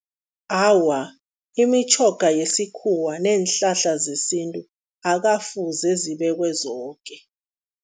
Awa, imitjhoga yesikhuwa neenhlahla zesintu akafuze zibekwe zoke.